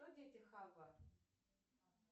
кто дети хава